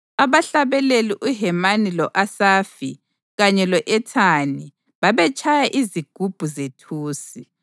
Abahlabeleli uHemani lo-Asafi kanye lo-Ethani babezatshaya izigubhu zethusi;